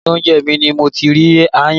Inú oúnjẹ mi ni mo ti rí aáyán